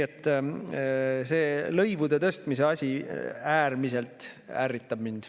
See lõivude tõstmise asi ärritab mind äärmiselt.